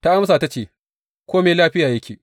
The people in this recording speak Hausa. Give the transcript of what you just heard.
Ta amsa ta ce, Kome lafiya yake.